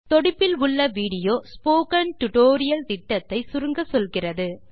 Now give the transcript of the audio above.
தொடுப்பில் உள்ள video spoken tutorial திட்டத்தை சுருங்கச்சொல்கிறது